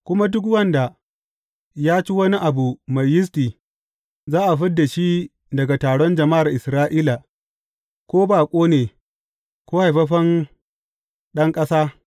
Kuma duk wanda ya ci wani abu mai yisti, za a fid da shi daga taron jama’ar Isra’ila, ko baƙo ne, ko haifaffen ɗan ƙasa.